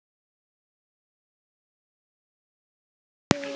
Það er bara gott.